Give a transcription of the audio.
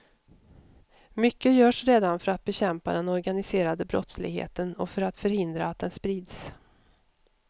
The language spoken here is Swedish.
Mycket görs redan för att bekämpa den organiserade brottsligheten och för att förhindra att den sprids.